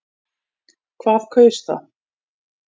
Hvað kaus það?